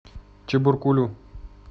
чебаркулю